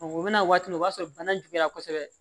U bɛna waati min o b'a sɔrɔ bana juguyara kosɛbɛ